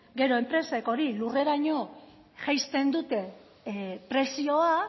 gero enpresek hori lurreraino jaisten dute prezioa